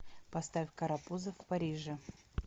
поставь карапузы в париже